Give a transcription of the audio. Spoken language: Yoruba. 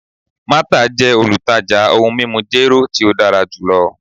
Martha jẹ olutaja ohun mimu jero ti o dara julọ